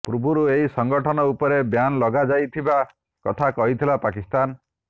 ପୂର୍ବରୁ ଏହି ସଂଗଠନ ଉପରେ ବ୍ୟାନ ଲଗାଇଥିବାର କଥା କହିଥିଲା ପାକିସ୍ତାନ